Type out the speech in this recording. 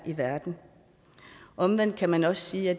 i verden omvendt kan man også sige at